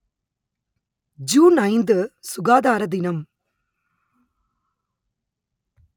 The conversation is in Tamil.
ஜூன் ஐந்து சுகாதார தினம்